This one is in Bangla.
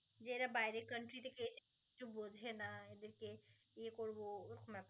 যে এরা বাইরের country থেকে এসে~ কিছু বোঝে না